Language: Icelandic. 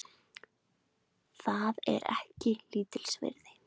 Það er ekki lítils virði